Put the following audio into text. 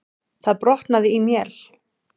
Það brotnaði í mél.